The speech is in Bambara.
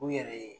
U yɛrɛ ye